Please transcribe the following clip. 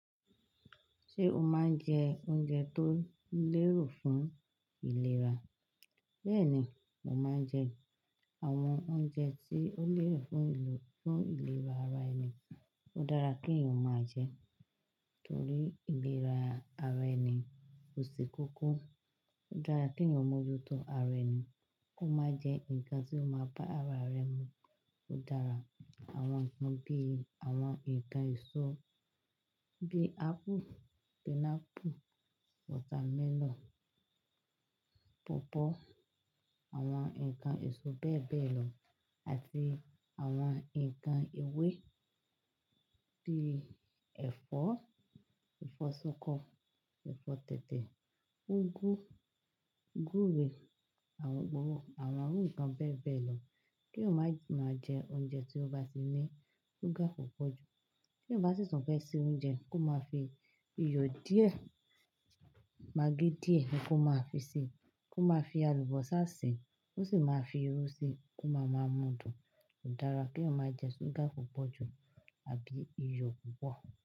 Ṣé o máa ń jẹ oúnjẹ tó lérò fún ìlera? Bẹ́ẹ̀ni, mo máa ń jẹ àwọn oúnjẹ tí ó lérò fún ìlera ara ẹni. Ó dára kí èèyàn máa jẹ torí ìlera ara ẹni. Ó ṣe kókó. Ó dára kí èèyàn mójútó ara ẹni, kó máa jẹ nǹkan tí ó máa bá ara rẹ̀ mu. Ó dára àwọn nǹkan bí àwọn ǹkan èso bí apple, pineapple, watermelon, pawpaw, àwọn ǹkan èso bẹ́ẹ̀ bẹ́ẹ̀ lọ, àti àwọn ǹkan ewé bí ẹ̀fọ́, ẹ̀fọ́ ṣokọ, ẹ̀fọ́ tètè, úgú, gúré, àwọn irun nkàn bẹ́ẹ̀ bẹ́ẹ̀ lọ. Kí ò máa máa jẹ oúnjẹ tí ó bá ti ní ṣúgà púpọ̀ jù. Bí èyàn bá sì fẹ́ ṣe oúnjẹ, kó máa fi iyọ̀ díẹ̀, magí díẹ̀ ni kó máa fi sè é, kó máa fi alùbọ́sà sè é, ó sì máa fi irú ṣe kó máa ma mú dùn. Kò dára kí èèyàn máa jẹ ṣúgà púpọ̀ jù àbí iyọ̀ púpọ̀.